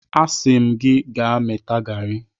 Asị m gị gaa mata garị!